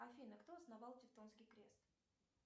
афина кто основал тевтонский крест